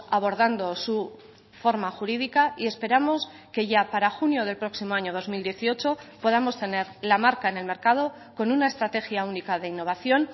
abordando su forma jurídica y esperamos que ya para junio del próximo año dos mil dieciocho podamos tener la marca en el mercado con una estrategia única de innovación